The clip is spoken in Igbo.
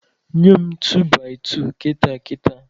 Nye m tu-baị-tu kita kita!